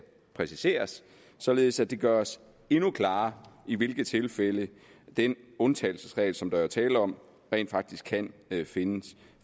præciseres således at det gøres endnu klarere i hvilke tilfælde den undtagelsesregel som der er tale om rent faktisk kan finde